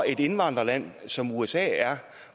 et indvandrerland som usa